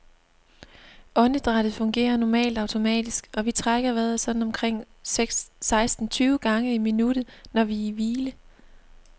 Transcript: Åndedrættet fungerer normalt automatisk, og vi trækker vejret sådan omkring seksten tyve gange i minuttet, når vi er i hvile.